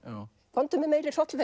komdu með meiri hrollvekju